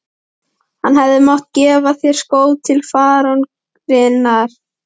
Hann hefði mátt gefa þér skó til fararinnar